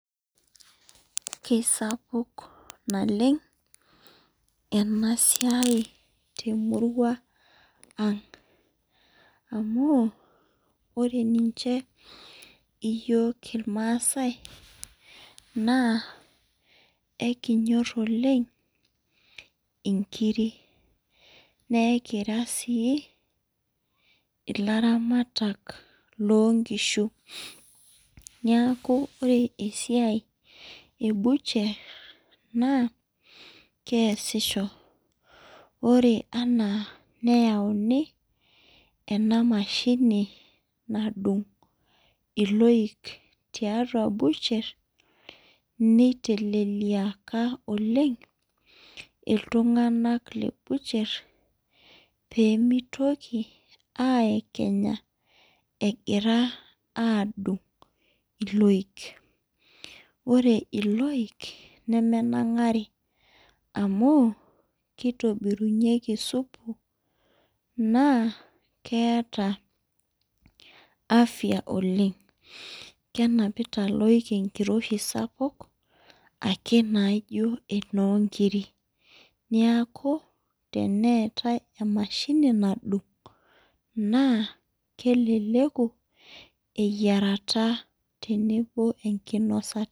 Kesapuk nalemg enasia temurua ang amu ore nche yiol irmaasai na elinyor oleng nkirik na ekira si laramatak lonkishu neaku lre esaiai ebusher na keasisho ore ena peyauni enamashini nadung ilpik nitelelia oleng ltunganak lebuaher pemitoki aiekenya tenedung iloik ore iloik nemenangari amu kitobirunyeki supu na keeta afya oleng knapita loik enliroshi sapuk naino emongirik neaku teneetae emashini nadung na keleleku eyiarata tenebo enkinasata